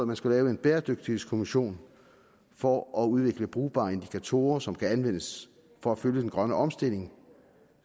man skulle lave en bæredygtighedskommission for at udvikle brugbare indikatorer som kan anvendes for at følge den grønne omstilling